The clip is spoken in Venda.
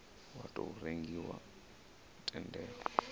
wa tou rengiwa u tendela